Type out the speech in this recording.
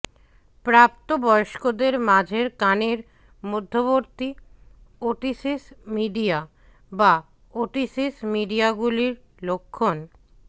প্রাপ্তবয়স্কদের মাঝের কানের মধ্যবর্তী ওটিসিস মিডিয়া বা ওটিটিস মিডিয়াগুলির লক্ষণঃ